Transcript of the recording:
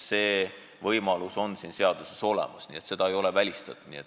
See võimalus on siin seaduseelnõus olemas, seda ei ole välistatud.